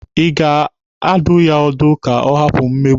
Ị ga-adụ ya ọdụ ka ọ hapụ mmegbu?